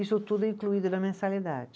Isso tudo incluído na mensalidade.